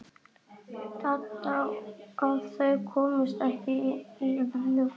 Dadda að þau komust ekki í einn bíl.